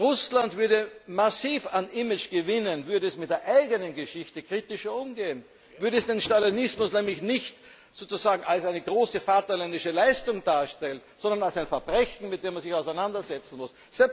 Russland würde massiv an Image gewinnen, würde es mit der eigenen Geschichte kritischer umgehen, würde es den Stalinismus nämlich nicht als eine große vaterländische Leistung darstellen, sondern als ein Verbrechen, mit dem man sich auseinandersetzen muss.